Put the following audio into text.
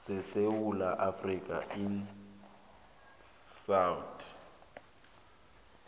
sesewula afrika isouth